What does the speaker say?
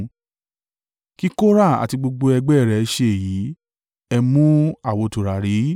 Kí Kora àti gbogbo ẹgbẹ́ rẹ̀ ṣe èyí, ẹ mú àwo tùràrí.